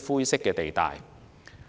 灰色地帶。